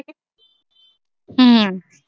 ਹੂੰ।